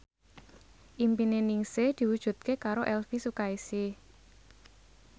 impine Ningsih diwujudke karo Elvi Sukaesih